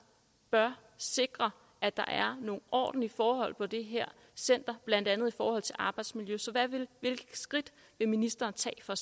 bør sikre at der er nogle ordentlige forhold på det her center blandt andet i forhold til arbejdsmiljø så hvilke skridt vil ministeren tage for